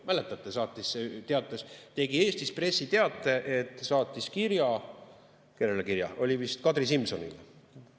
Mäletate, tegi Eestis pressiteate, et saatis kirja vist Kadri Simsonile.